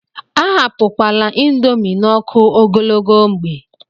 Ahapụkwala índomi n'ọkụ ogologo mgbe.